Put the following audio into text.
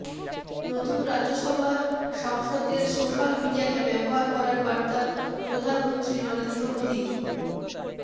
নতুন রাজ্যসভার সাংসদদের সোশ্যাল মিডিয়াকে ব্যবহার করার বার্তা প্রধানমন্ত্রী নরেন্দ্র মোদীর